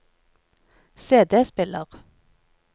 CD-spiller